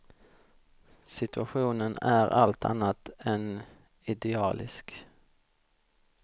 Situationen är allt annat än idealisk.